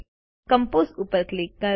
compose ઉપર click કરો